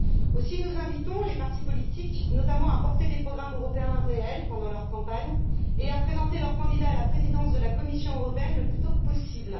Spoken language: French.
Aussi, nous invitons les partis politiques, notamment, à porter des programmes européens réels pendant leur campagne et à présenter leurs candidats à la Présidence de la Commission européenne le plus tôt possible.